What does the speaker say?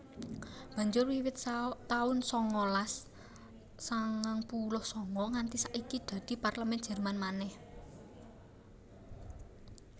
Banjur wiwit taun sangalas sangang puluh sanga nganti saiki dadi Parlemèn Jèrman manèh